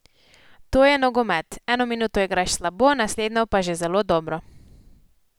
To je nogomet, eno minuto igraš slabo, naslednjo pa že zelo dobro.